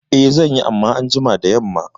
I zanyi amma anjima da yamma